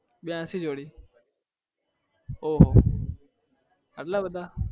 બયાશી જોડી ઓંહો એટલા બધા